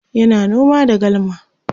yana noma da galma